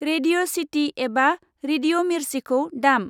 Radio चिटि एबा radio मिर्चिखौ दाम।